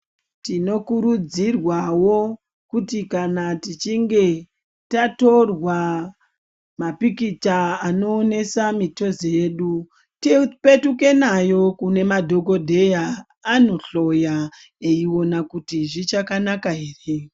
Tinokurudzirwawo kuti kana tichinge tatorwa mapikicha anoonesa mitezo yedu tipetuke nawo kunemadhokodheya andohloya eiwona kuti zvichakanaka ere.